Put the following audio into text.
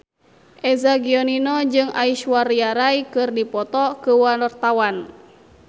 Eza Gionino jeung Aishwarya Rai keur dipoto ku wartawan